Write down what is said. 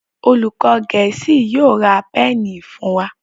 olùkó gèésì yóò rá Pẹ́ẹ̀nì fún wá.